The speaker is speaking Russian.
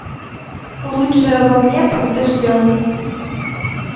лучшее во мне под дождем